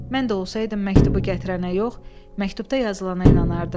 Mən də olsaydım məktubu gətirənə yox, məktubda yazılandan inanardım.